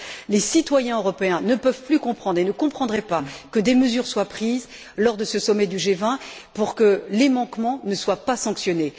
Les citoyens européens ne peuvent plus comprendre et ne comprendraient pas que des mesures soient prises lors de ce sommet du G20 et que les manquements ne soient pas sanctionnés.